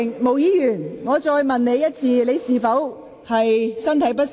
毛孟靜議員，我再詢問一次，你是否感到身體不適？